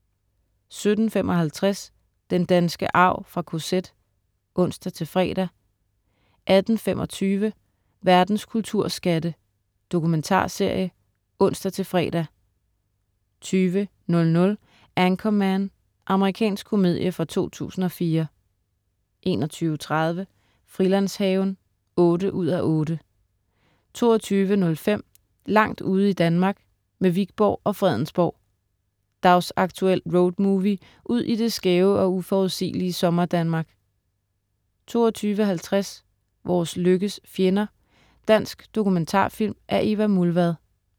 17.55 Den danske arv fra KZ (ons-fre) 18.25 Verdens kulturskatte. Dokumentarserie (ons-fre) 20.00 Anchorman. Amerikansk komedie fra 2004 21.30 Frilandshaven 8:8 22.05 Langt ude i Danmark, med Wikborg og Fredensborg. Dagsaktuel roadmovie ud i det skæve og uforudsigelige sommer-Danmark 22.50 Vores lykkes fjender. Dansk dokumentarfilm af Eva Mulvad